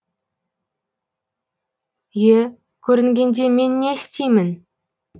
е көрінгенде мен не істеймін